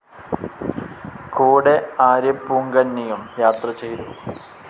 കൂടെ ആര്യപ്പൂങ്കന്നിയും യാത്ര ചെയ്തു.